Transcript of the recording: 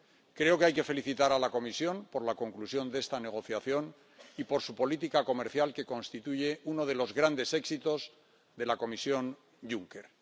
Creo que hay que felicitar a la Comisión por la conclusión de esta negociación y por su política comercial, que constituye uno de los grandes éxitos de la Comisión Juncker.